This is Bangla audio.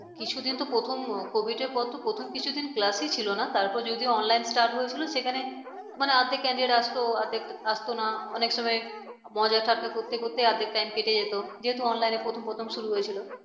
কিছুদিন তো প্রথম কভিদের পর তো প্রথম কিছুদিন class ই ছিল না তারপর যদিও online start হয়েছিল সেখানে মানে অর্ধেক candidate আসতো অর্ধেক আসতো না অনেক সময় মজার ঠাট্টা করতে করতে অর্ধেক time কেটে যেত online প্রথম প্রথম শুরু হয়েছিল